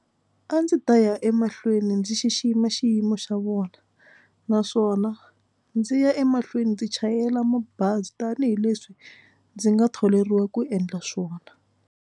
A ndzi ta ya emahlweni ndzi xixima xiyimo xa vona naswona ndzi ya emahlweni ndzi chayela mabazi tanihileswi ndzi nga tholeriwa ku endla swona.